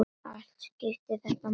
Allt skiptir þetta máli.